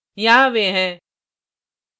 यहाँ वे हैं